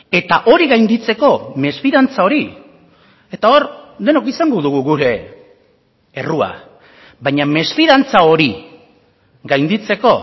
eta hori gainditzeko mesfidantza hori eta hor denok izango dugu gure errua baina mesfidantza hori gainditzeko